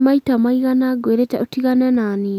nĩ maita maigana ngũĩrĩte ũtigane naniĩ?